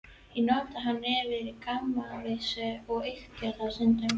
Ég notaði hann oft í gamanvísur og ýkti þá stundum.